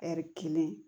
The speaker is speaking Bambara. Ɛri kelen